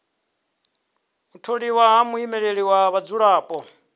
u tholiwa ha muimeleli wa vhadzulapo